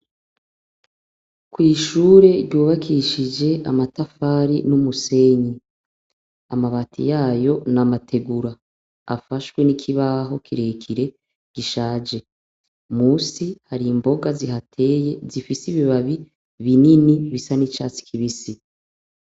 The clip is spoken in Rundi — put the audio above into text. kwishure ryubakishije amatafari n'umusenyi amabati yayo na mategura afashwe n'ikibaho kirekire gishaje musi hari imboga zihateye zifise ibibabi binini bisa n'icyatsi kibisi